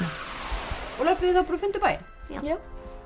og löbbuðu þið þá bara og funduð bæinn já